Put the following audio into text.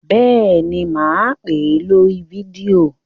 Bẹ́ẹ̀ ni, mà á pè é lórí fídíò.